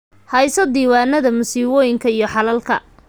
Hayso diiwaanada masiibooyinka iyo xalalka.